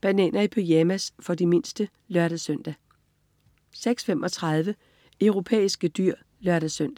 Bananer i pyjamas. For de mindste (lør-søn) 06.35 Europæiske dyr (lør-søn)